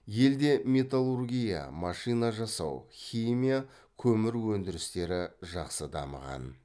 елде металлургия машина жасау химия көмір өндірістері жақсы дамыған